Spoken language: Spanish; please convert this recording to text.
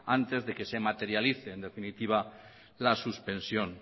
antes de que se materialicen en definitiva la suspensión